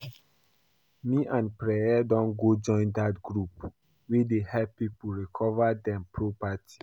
Me and Preye don go join dat group wey dey help people recover dem property